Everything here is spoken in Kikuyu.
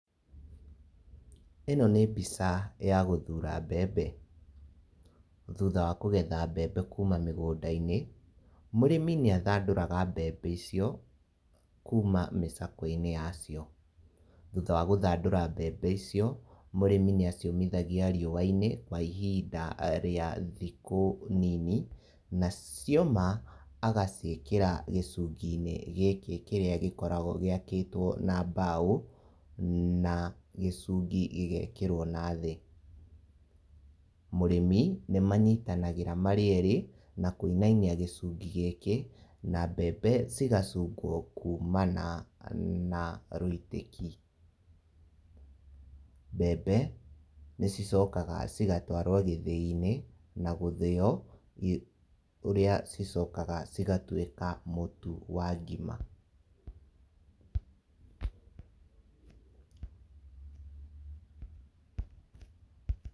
Ĩno nĩ mbica ya gũthura mbembe, thutha wa kũgetha mbembe kuma mĩgũnda-inĩ, mũrĩmi nĩ athandũraga mbembe icio kuma mĩcakwe-inĩ ya cio, thutha wa gũthandũra mbembe icio, mũrĩmi nĩ aciũmithagĩa rĩua-inĩ kwa ihinda rĩa thikũ nini, na cioma agaciĩkĩra gĩcungi-inĩ gĩkĩ kĩrĩa gĩkoragwo gĩakĩtwo na mbao, na gĩcungi gĩgekĩrwo na thĩ, mũrĩmi nĩ manyitanagĩra marĩ erĩ, na kũinainia gĩcungi gĩkĩ na mbembe cigacungwo kumana na rwĩtĩki, mbembe nĩ cicokaga cigatwarwo gĩthĩi-inĩ, na gũthĩyo, ũrĩa cicokaga cigatuĩka mũtu wa ngima.